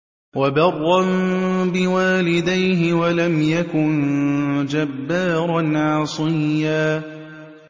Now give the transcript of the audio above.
وَبَرًّا بِوَالِدَيْهِ وَلَمْ يَكُن جَبَّارًا عَصِيًّا